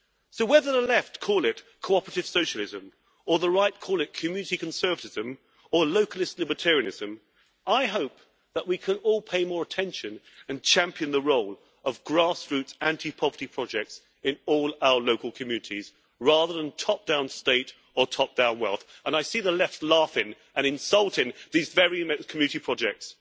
So, whether the Left call it cooperative socialism, or the Right call it community conservatism or localist libertarianism, I hope that we can all pay more attention and champion the role of grass roots anti poverty projects in all our local communities, rather than top down state or top down wealth, and I see the Left laughing and insulting these very many community projects.